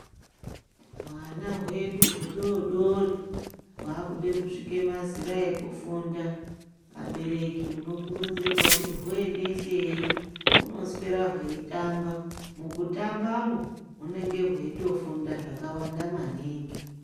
Hwana hwedu hudoodori hwakuda kusvika mazera ekufunda. Abereki munokurudzirwa kuti huendesei hunoswera hweitamba, mukutambamwo hunenge hweitofunda zvakawanda maningi.